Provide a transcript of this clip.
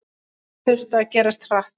Þetta þurfti að gerast hratt.